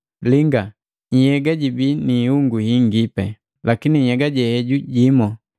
Linga, nhyega jibii ni ihungu hingi, lakini nhyega jimu.